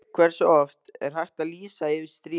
Hversu oft er hægt að lýsa yfir stríði?